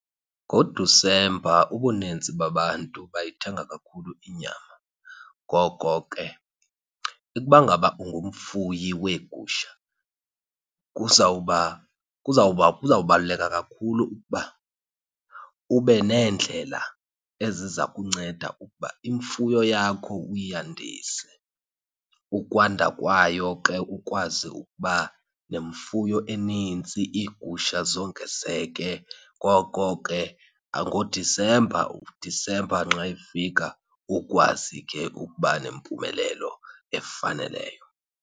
NgoDisemba ubuninzi babantu bayithenga kakhulu inyama. Ngoko ke ukuba ngaba ungumfuyi weegusha kuzawuba, kuzawuba, kuzawubaluleka kakhulu ukuba ube neendlela eziza kunceda ukuba imfuyo yakho uyandise. Ukwanda kwayo ke ukwazi ukuba nemfuyo enintsi iigusha zongezeke. Ngoko ke ngoDisemba, uDisemba nxa efika ukwazi ke ukuba nempumelelo efaneleyo.